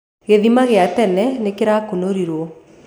Gĩthĩma gĩa tene nĩkĩrakũnĩkĩrwo.